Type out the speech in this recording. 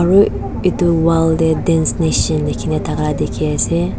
arowi etu wall dae dance nation lekhena thaka dekhe ase.